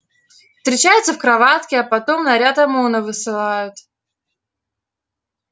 встречаются в кроватке а потом наряд омона высылают